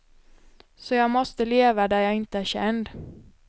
Så jag måste leva där jag inte är känd.